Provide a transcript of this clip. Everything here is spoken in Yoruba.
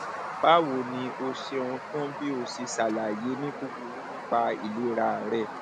báwo ni o o ṣeun fún bí o ṣe ṣàlàyé ní kúkúrú nípa ìlera rẹ